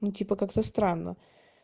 ну типа как-то странно